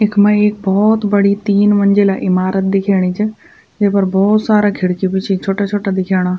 इख्मा एक भोत बड़ी तीन मंजिला इमारत दिखेणी च जेपर भोत सारा खिड़की भी च छोटा छोटा दिखेणा।